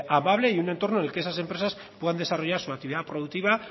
amable y un entorno en el que esas empresas puedan desarrollar su actividad productiva